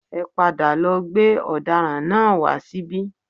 Ẹ padà lọ gbé ọdaràn náà wá síbí